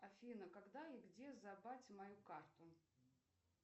афина когда и где забрать мою карту